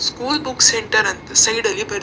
school book centre ಅಂತ side ಅಲ್ಲಿ ಬರ್ದ್ --